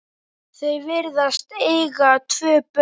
Þau virðast eiga tvö börn.